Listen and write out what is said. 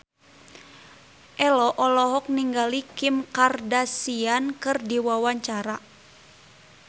Ello olohok ningali Kim Kardashian keur diwawancara